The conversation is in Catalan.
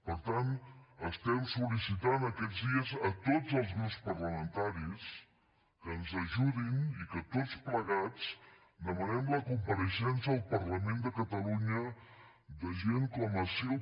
per tant estem sol·licitant aquests dies a tots els grups parlamentaris que ens ajudin i que tots plegats demanem la compareixença al parlament de catalunya de gent com asil